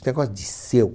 Esse negócio de seu.